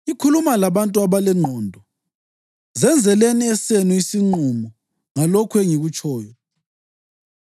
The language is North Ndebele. Ngikhuluma labantu abalengqondo; zenzeleni esenu isinqumo ngalokho engikutshoyo.